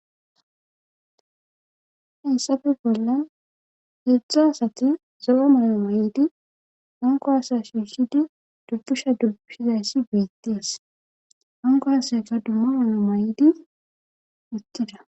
Xessafe bollan heedzdza asati zo'a mala may'idi hanko asa shiishidi dubbusha dubbishizayssi beittees hanko aseka dumma mala may'idi uttida.